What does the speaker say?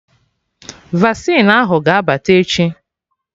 Vasịn ahụ ga abata echi